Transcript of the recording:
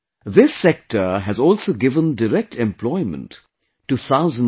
This sector has also given direct employment to thousands of people